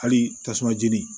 Hali tasuma jeni